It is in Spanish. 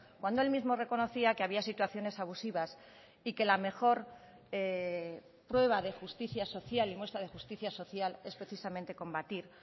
cuando el mismo reconocía que había situaciones abusivas y que la mejor prueba de justicia social y muestra de justicia social es precisamente combatir